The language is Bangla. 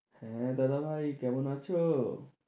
হ্যাঁ, দাদাভাই কেমন আছো?